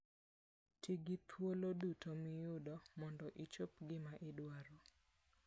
Ti gi thuolo duto miyudo mondo ichop gima idwaro.